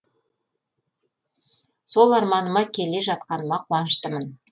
сол арманыма келе жатқаныма қуаныштымын